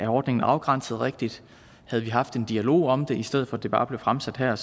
ordningen er afgrænset rigtigt havde vi haft en dialog om det i stedet for at det bare blev fremsat her